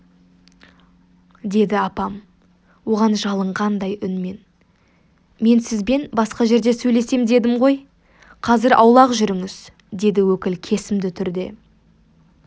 деді апам оған жалынғандай үнмен мен сізбен басқа жерде сөйлесем дедім ғой қазір аулақ жүріңіз деді өкіл кесімді түрде